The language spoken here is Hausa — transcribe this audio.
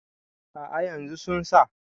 a' a yanzu sun sa